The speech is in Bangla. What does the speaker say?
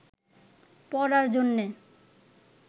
পড়ার জন্যে